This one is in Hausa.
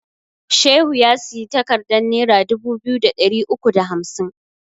Shehu ya siyi takardan nera dubu biyu da ɗari uku da hamsin